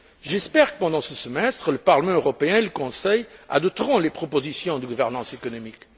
J'espère que, pendant ce semestre, le Parlement européen et le Conseil adopteront les propositions de gouvernance économique.